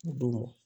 Don